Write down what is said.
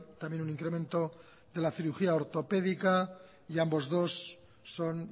también un incremento de la cirugía ortopédica y ambos dos son